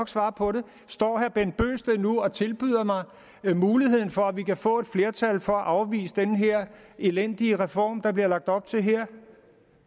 svare på det står herre bent bøgsted nu og tilbyder muligheden for at vi kan få et flertal for at afvise den her elendige reform der bliver lagt op til her